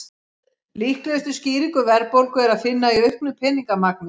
Líklegustu skýringu verðbólgu er að finna í auknu peningamagni.